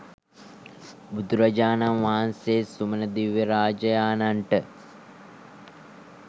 බුදුරජාණන් වහන්සේ සුමන දිව්‍යරාජයාණන්ට